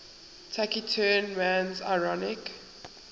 taciturn man's ironic